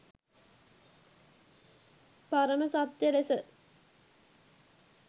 පරම සත්‍ය ලෙස